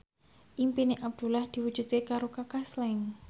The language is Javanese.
impine Abdullah diwujudke karo Kaka Slank